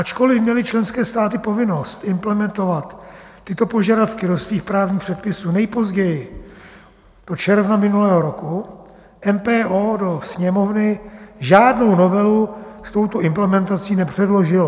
Ačkoliv měly členské státy povinnost implementovat tyto požadavky do svých právních předpisů nejpozději do června minulého roku, MPO do Sněmovny žádnou novelu s touto implementací nepředložilo.